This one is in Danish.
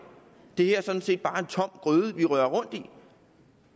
det her er sådan set bare en tom gryde vi rører rundt i